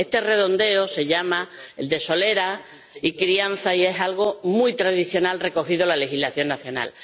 Este redondeo se llama de solera y crianza y es algo muy tradicional recogido en la legislación nacional.